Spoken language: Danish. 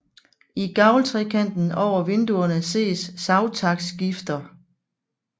I gavltrekanten over vinduerne ses savtakskifter